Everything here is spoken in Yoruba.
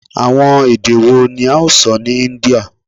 Awọn ede wo ni a o sọ ni India?